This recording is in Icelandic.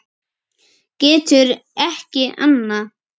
Getur ekki annað.